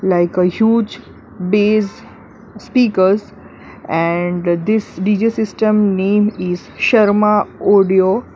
Like a huge base speakers and this D_J system name is sharma audio.